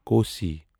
Kosi